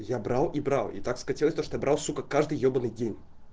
я брал и брал и так скатилось то что я брал сука каждый ёбаный день